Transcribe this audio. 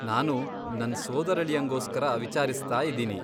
ನಾನು ನನ್ ಸೋದರಳಿಯಂಗೋಸ್ಕರ ವಿಚಾರ್ಸ್ತಾ ಇದೀನಿ.